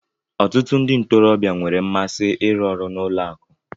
Ọtụtụ ndị ntorobịa nwere mmasị ịrụ ọrụ n'ụlọ akụ.